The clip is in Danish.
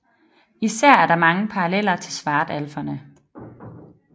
Især er der mange paralleller til svartalferne